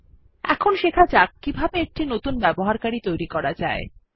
এখন শেখা যাক কিভাবে একটি নতুন ব্যবহারকারী তৈরী করা যায়